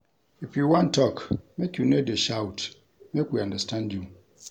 If you wan tok, make you no dey shout, make we understand you.